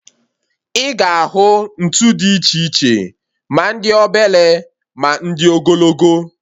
Ị ga ahụ ntụ dị iche iche, ma ndị obele, ma ndị ogologo